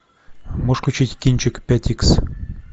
можешь включить кинчик пять икс